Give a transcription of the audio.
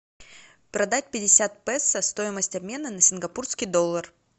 продать пятьдесят песо стоимость обмена на сингапурский доллар